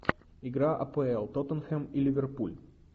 игра апл тоттенхэм и ливерпуль